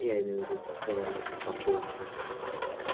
я имею в виду кроме этой попойки